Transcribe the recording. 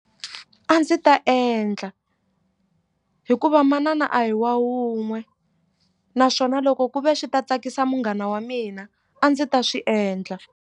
A ndzi ta endla hikuva manana a hi wa wun'we naswona loko ku ve swi ta tsakisa munghana wa mina a ndzi ta swi endla.